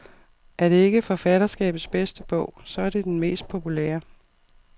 Er det ikke forfatterskabets bedste bog, så er det den mest populære.